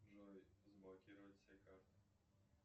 джой заблокировать все карты